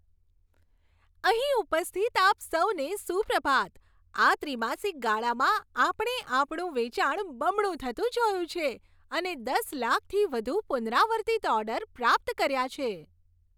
અહીં ઉપસ્થિત આપ સૌને સુપ્રભાત. આ ત્રિમાસિક ગાળામાં આપણે આપણું વેચાણ બમણું થતું જોયું છે અને દસ લાખથી વધુ પુનરાવર્તિત ઓર્ડર પ્રાપ્ત કર્યા છે.